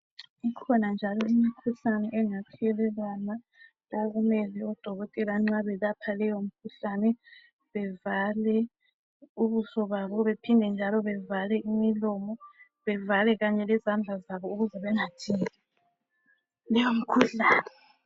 Kukhona njalo imikhuhlane engathelelwana okumele odokotela nxa belapha leyo mikhuhlane bevale ubuso babo bephinde njalo bevale imilomo ,bevala kanye lezandla zabo ukuze bengathinti leyomikhuhlane.